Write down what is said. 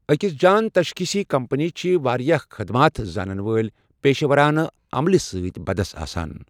اكِس جان تسخیصی كمپنی چھ واریاہ خدمات زانن وٲلۍ پیشورانہٕ عملہٕ سٕتۍ بدس آسان ۔